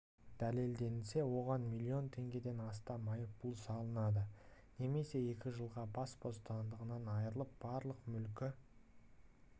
дәлелденсе оған млн теңгеден астам айыппұл салынады немесе екі жылға бас бостандығынан айрылып барлық мүлкі